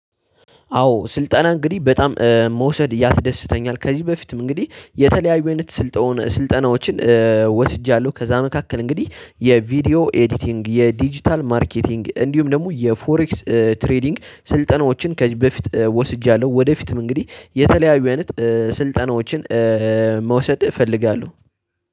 አዎ ስልጠና እንግዲህ በጣም መውሰድ ያስደስተኛል ከዚህ በፊትም እንግዲህ የተለያዩ አይነት ስልጠናዎችን ወስጃለሁ። ከዛ መካከል እንግዲህ የቪዲዮ ኤዲቲንግ፥ የዲጂታል ማርኬቲንግ፥ እንዲሁም ደግሞ የፎሬክስ ትሬዲንግ ስልጠናዎችን ከዚህ በፊት ወስጃለሁ። ወደፊትም እንግዲህ የተለያዩ አይነት ስልጠናዎችን መውሰድ እፈልጋለሁ